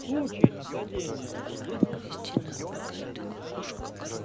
в случае нападения есть возможность связаться со своими